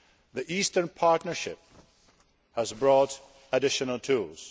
The Eastern Partnership has brought additional tools.